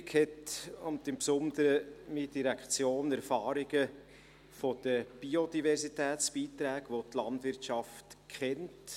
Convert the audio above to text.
Die Regierung hat – und im Besonderen meine Direktion – Erfahrungen mit den Biodiversitätsbeiträgen, welche die Landwirtschaft kennt.